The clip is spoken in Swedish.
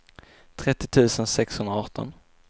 trettio tusen sexhundraarton